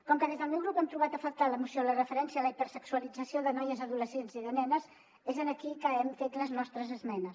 com que des del meu grup hem trobat a faltar a la moció la referència a la hiper·sexualització de noies adolescents i de nenes és aquí que hem fet les nostres esme·nes